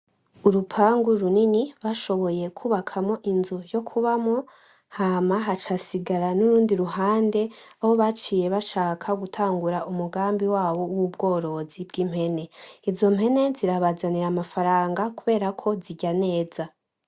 Urupangu runini bashoboye kubakamwo inzu yo kubamwo, hama haca hasigara n’urundi ruhande aho baciye bashaka gutangura umugambi wabo w'ubworozi bw'impene. Izo mpene zirabazanira amafaranga kubera ko zirya neza.